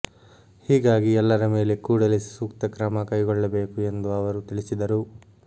ಹೀಗಾಗಿ ಎಲ್ಲರ ಮೇಲೆ ಕೂಡಲೇ ಸೂಕ್ತ ಕ್ರಮ ಕೈಗೊಳ್ಳಬೇಕು ಎಂದು ಅವರು ತಿಳಿಸಿದರು